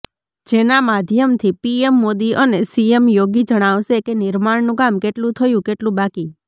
જેના માધ્યમથી પીએમ મોદી અને સીએમ યોગી જણાવશે કે નિર્માણનું કામ કેટલું થયું કેટલું બાકી